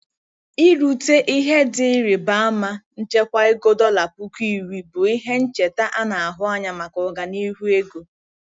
Irute ihe dị ịrịba ama nchekwa ego dollar puku iri bụ ihe ncheta a na-ahụ anya maka ọganihu ego.